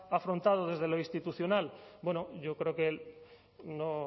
afrontado desde lo institucional yo creo que no